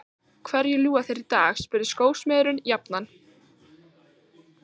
Hverju ljúga þeir í dag? spurði skósmiðurinn jafnan.